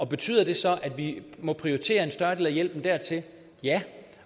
betyder det så at vi må prioritere en større del af hjælpen dertil ja